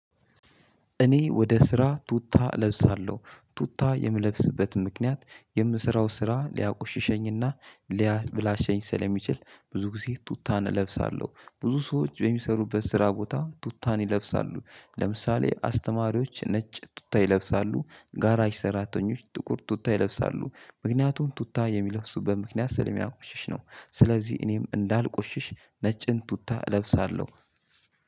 እኔ ወደ ስራ ቱታ እለብሳለሁ። ቱታ የምለብስበት ምክንያት የምሰራው ስራ ልያቆሽሸኝ እና- ሊያበላሸኝ ስለሚችል ብዙ ጊዜ ቱታን እለብሳለሁ። ብዙ ሰዎች በሚሰሩበት ስራ ቦታ ቱታን ይለብሳሉ። ለምሳሌ አስተማሪዎች ነጭ ቱታ ይለብሳሉ። ጋራሽ ሰራተኞች ጥቁር ቱታ ይለብሳሉ። ምክንያቱም ቱታ የሚለብሱበት ምክንያት ሰለሚያቆሽሽ ነው። ስለዚህ እኔም እንዳልቆሽሽ ነጭን ቱታ እለብሳለሁ።